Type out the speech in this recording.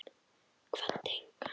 Kvaddi engan.